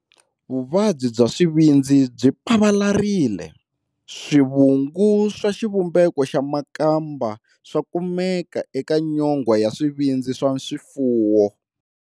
Vuvabyi bya swivindzi byi pavalarile, swivungu swa xivumbeko xa makamba swa kumekaka eka nyongwa ya swivindzi swa swifuwo.